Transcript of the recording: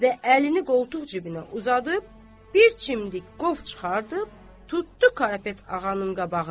Və əlini qoltuq cibinə uzadıb, bir çimdik qov çıxardıb, tutdu Karapet ağanın qabağına.